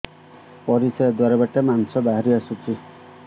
ପରିଶ୍ରା ଦ୍ୱାର ବାଟେ ମାଂସ ବାହାରି ଆସୁଛି